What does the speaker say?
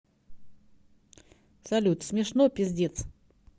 салют смешно пиздец